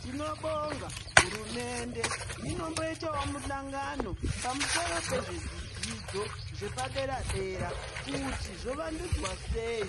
Tinobonga hurumende inomboitawo muhlangano pamusoro pezvidzidzo zvepaderadera kuti zvovandudzwa sei